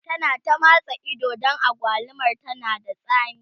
ta na ta matsa Ido Dan agwalumar tana da tsami